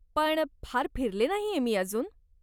पण फार फिरले नाहीये मी अजून.